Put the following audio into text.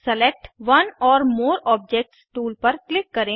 select one or more objects tool पर click करें